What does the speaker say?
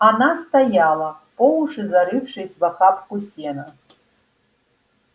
она стояла по уши зарывшись в охапку сена